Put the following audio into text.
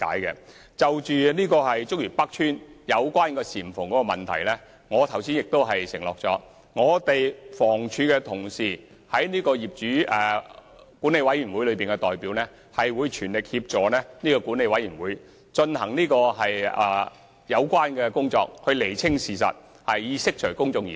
有關竹園北邨的簷篷問題，我剛才已承諾，房委會在業主大會和管委會的代表會全力協助管委會進行有關工作，釐清事實，以釋除公眾疑慮。